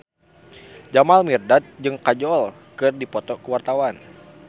Jamal Mirdad jeung Kajol keur dipoto ku wartawan